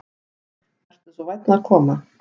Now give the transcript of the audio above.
Vertu svo vænn að koma.